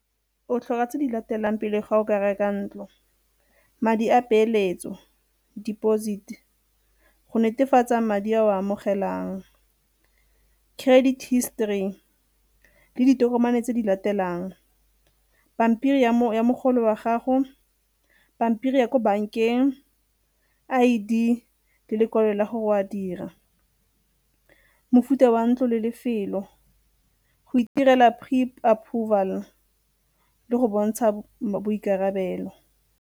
O tlhoka tse di latelang pele ga o ka reka ntlo, madi a peeletso, deposit-e go netefatsa madi a o a amogelang, credit histori le ditokomane tse di latelang pampiri ya mogolo wa gago, pampiri ya ko bankeng, I_D le lekwalo la gore o a dira. Mofuta wa ntlo le lefelo, go itirela pre-approval le go bontsha boikarabelo.